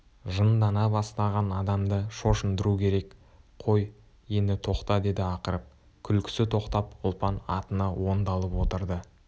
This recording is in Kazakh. жындана бастаған адамды шошындыру керек қой енді тоқта деді ақырып күлкісі тоқтап ұлпан атына оңдалып отырды